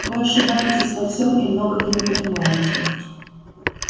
вы ошибаетесь во всём и многого не понимаете